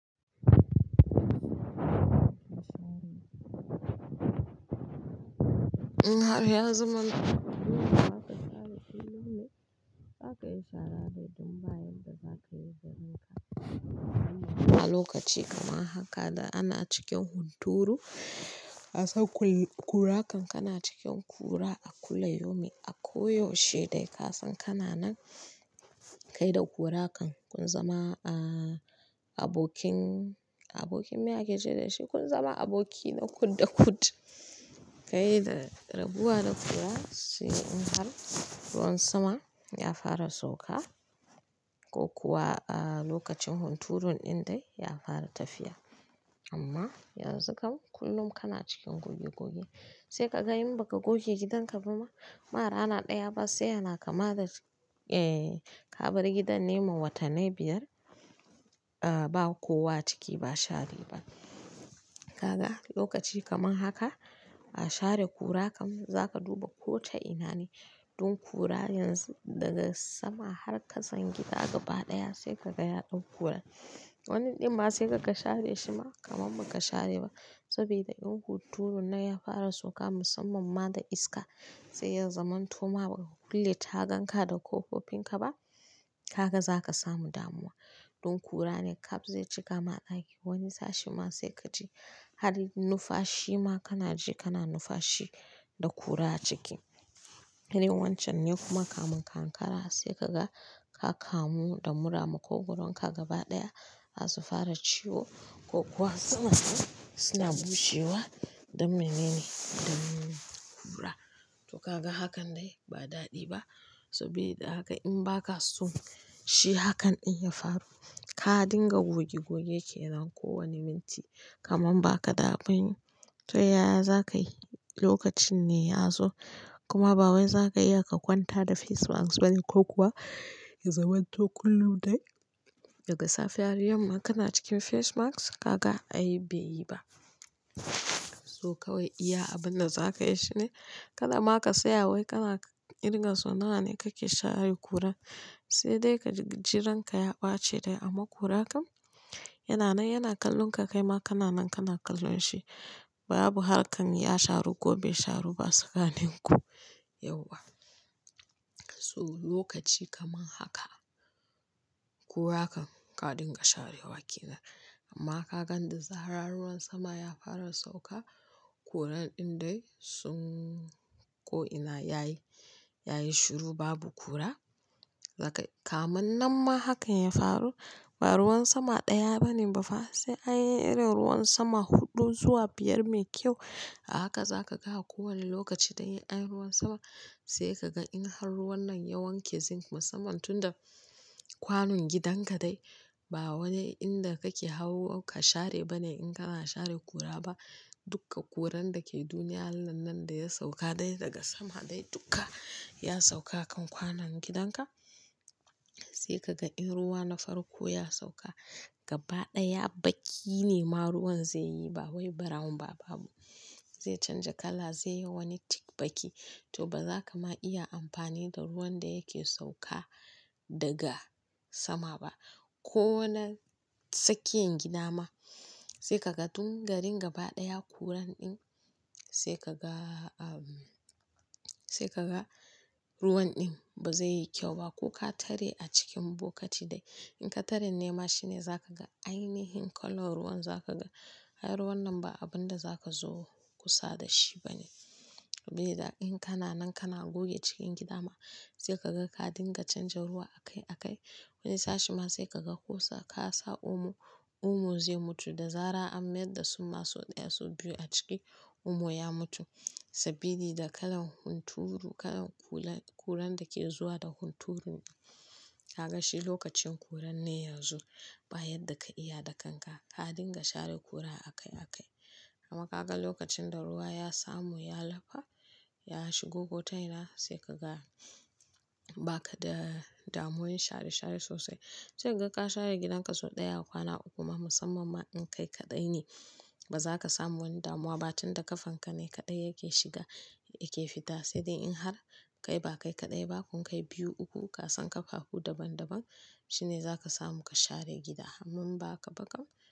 In har ya zama kullum za ka share kullume, za ka yi sharare ne, don bayan da za ka yi barinka. Lokaci kamar haka da ana cikin hunturu, ka san kan kura kana cikin kura a kullayomi, a ko yaushe dai ka san kana nan kai da ƙurakan kun zama, ah, abokin, abokin miyage ce da shi kun zama aboki na ƙut da ƙut. Kai da rabuwa da kura sai in har ruwan sama ya fara sauka, ko kuwa a lokacin hunturun ɗin dai ya fara tafiya. Amma yanzu kam kullum kana cikin goge goge, sai ka ga in ba ka goge gidanka ba ma rana ɗaya ba sai yana kama da, eh, ka bar gidan nema watannai biyar, ah, ba kowa ciki ba shari ba. Kaga lokaci kama haka, ah share ƙura kam zaka duba kota ina ne. Dun kura yanzu daga sama har ka san gida gaba ɗaya sai ka ga yaɗau ƙuran. Wani ɗin ma sai ka ga share shi ma kamar ba ka share ba, sabida in hunturun nan ya fara sauka musamman ma da iska, sai ya zaman to ma baka kulle tagan ka da ƙofofin ka ba, ka ga zaka samu damuwa. Don ƙura ne kap zai cika ma ɗakin, wani sashen ma sai ka ji har numfashi ma kana ji kana numfashi da ƙura a ciki. Irin wancan ne kuma kamun ka ankara saikaga ka kamu da mura, maƙogoron ka gaba ɗaya zasu fara ciwo, kokuma suna bushewa, don mene ne? Don ƙura. To kaga hakan dai ba daɗi ba, sabida haka in ba ka so shi hakan ɗin ya faru, ka dinga goge-goge kenan ko wani minti kaman ba ka da abunyi. To yaya za ka yi, lokacin ne ya zo, kuma ba wai za ka iya ka kwanta da face mask bane ko kuwa ya zaman to kullum dai daga safe har yamma kana cikin face mask, kaga ai bai yi ba. To kawai iya abun da za ka yi shine, kada ma ka tsaya wai kana irga so nawa ne kake share ƙuran, sai dai ka ji ranka ya ɓaci dai amma ƙura kam yana nan yana kallon ka kai ma kana nan kana kallo shi babu harkar ya sharu ko bai sharu ba tsakanin ku yauwa. So lokaci kaman haka, ƙura kan ka dinga sharewa ke nan, amma ka gan da zarar ruwan sama ya fara sauka, kuran ɗin dai sun ko ina yayi, yayi shiru babu kura. Zaka-- ka mun nan ma hakan ya faru, ba ruwan sama ɗaya bane ba fa sai an yi irin ruwan sama huɗu zuwa biyar mai kyau, a haka za ka ga kowane lokaci dai an yi ruwan sama sai ka ga in har ruwan nan ya wanke zinc musamman tun da kwanon gidanka dai, ba wani inda kake hau ka share bane in kana share kura ba. Dukka ƙuran da ke duniyan Allah nan da ya sauka dai daga sama dai duka, ya sauka a kan kwanon gidanka. Sai ka ga in ruwa na farko ya sauka, gaba ɗaya baƙi ne ma ruwan zai yi ba wai brown ba, babu, zai canja kala zai yi wani thick baƙi, to ba za ka ma iya amfani da ruwan da yake sauka daga sama ba. Ko na tsakiyan gida ma sai ka ga dun garin gaba ɗaya ya kuran ɗin sai ka ga, ah, sai ka ga ruwan ɗin ba zai yi kyau ba ko ka tare a cikin bokati dai. In ka tare nema shine za ka ga ainihin kalan ruwan za ka ga ai ruwan nan ba abin da za ka zo kusa da shi bane, sabida in kana nan kana goge cikin gida ma sai ka ga ka dinga canja ruwa a kai a kai. Wani sashe ma sai ka ga ko sa- ka sa omo, omo zai mutu da zaran an mai da su ma sau ɗaya sau biyu a ciki, omo ya mutu, sabili da kalan hunturu kalan kula-- kuran da ke zuwa da hunturun. Kaga shi lokacin kuran ne yanzu ba yadda ka iya da kanka, ka dinga share kura a kai a kai. Amma kaga lokacin da ruwa yasamu ya lafa, yashigo ko ta ina, sai kaga bakada damuwan share-share sosai sai ka ga ka share gidanka sau ɗaya a kwana uku ma musamman ma in kai kaɗai ne, ba za ka samu wani damuwa ba tun da kafan ka ne kaɗai yake shiga yake fita, sai dai in har kai ba kai kaɗai ba kun kai biyu uku ka san kafafu daban-daban shine zaka samu ka share gida amma in ba haka ba kam.